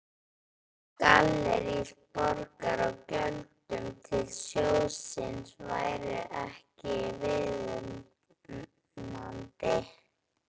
Gallerís Borgar á gjöldum til sjóðsins væru ekki viðunandi.